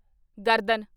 ਗਰਦਨ